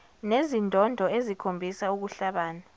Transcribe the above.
nezindondo ezikhombisa ukuhlabana